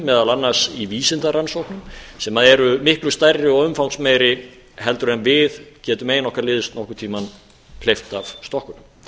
meðal annars í vísindarannsóknum sem eru miklu stærri og umfangsmeiri en við getum ein okkar liðs nokkurn tímann hleypt af stokkunum